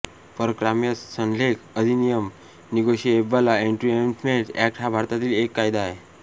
परक्राम्य संलेख अधिनियम निगोशिएबल इन्स्ट्रुमेंट्स एक्ट हा भारतातील एक कायदा आहे